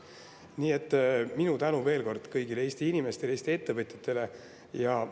Nii et minu tänu veel kord kõigile Eesti inimestele ja Eesti ettevõtjatele!